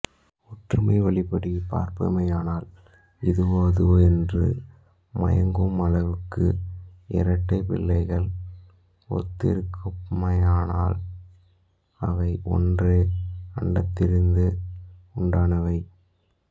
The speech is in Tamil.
ஒற்றுமை வழிப்படிபார்ப்போமானால் இதுவோ அதுவோ என்று மயங்கும் அளவுக்கு இரட்டைப் பிள்ளைகள் ஒத்திருக்குமானால் அவை ஒரே அண்டத்திலிருந்து உண்டானவை